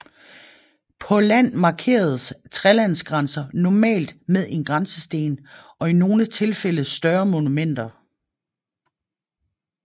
På land markeres trelandsgrænser normalt med en grænsesten og i nogle tilfælde større monumenter